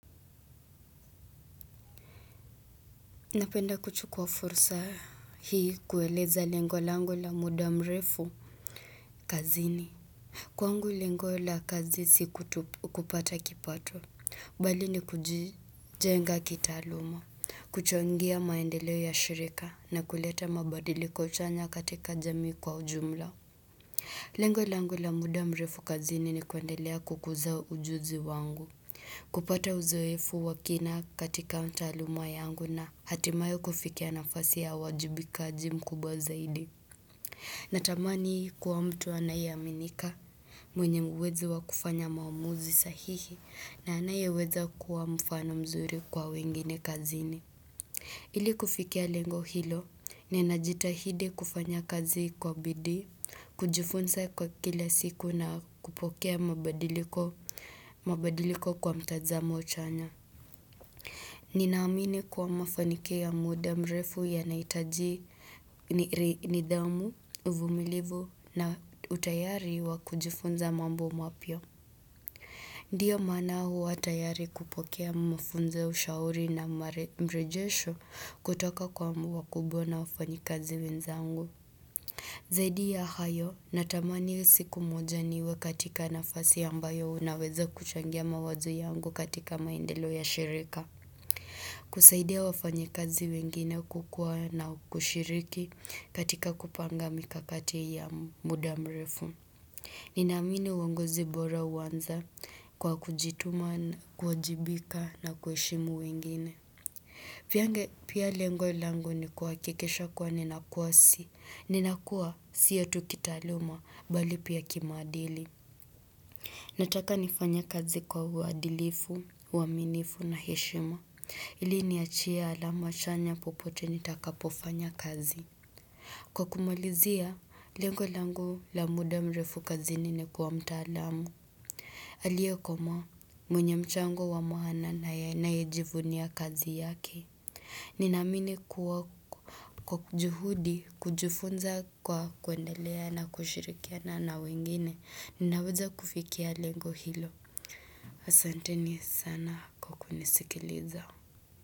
Napenda kuchukua fursa hii kueleza lengo langu la muda mrefu kazini. Kwangu lengo la kazi si kupata kipato bali ni kujenga kitaaluma kuchangia maendeleo ya shirika na kuleta mabadiliko chanya katika jamii kwa ujumla Lengo langu la muda mrefu kazini ni kuendelea kukuza ujuzi wangu kupata uzoefu wakina katika taaluma yangu na hatimayo kufikia nafasi ya wajibikaji mkubwa zaidi. Natamani kuwa mtu anayeaminika, mwenye uwezo wa kufanya maomuzi sahihi na anayeweza kuwa mfano mzuri kwa wengine kazini. Ili kufikia lengo hilo, ninajitahidi kufanya kazi kwa bidii, kujifunza kwa kila siku na kupokea mabadiliko mabadiliko kwa mtazamo chanya. Ninaamini kwa mafanikio ya muda mrefu yanahitaji nidhamu, uvumilivu na utayari wa kujifunza mambo mapya. Ndiyo maana huwa tayari kupokea mafunzo, ushauri na mrejesho kutoka kwa wakubwa na wafanyi kazi wenzangu. Zaidi ya hayo natamani siku moja niwe katika nafasi ambayo unaweza kuchangia mawazo yangu katika maendeleo ya shirika. Kusaidia wafanyikazi wengine kukua na kushiriki katika kupanga mikakati ya muda mrefu. Ninaamini uongozi bora huanza kwa kujituma, kuajibika na kuheshimu wengine. Piyange pia lengo langu ni kuhakikisha kuwa nina kwasi. Ninakua sio tu kitaaluma bali pia kimaadili. Nataka nifanye kazi kwa uadilifu, uaminifu na heshima. Ili niachia alama chanya popote nitakapofanya kazi. Kwa kumalizia, lengo langu la muda mrefu kazini ni kuwa mtaalamu. Aliyekomaa mwenye mchango wa maana na anayejivunia kazi yake. Ninaamini kuwa kwakujuhudi kujufunza kwa kuendelea na kushirikiana na wengine. Ninaweza kufikia lengo hilo. Asanteni sana kwa kunisikiliza.